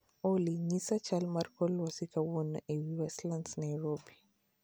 Olly, nyisa chal mar kor lwasi kawuono ei Westlands Nairobi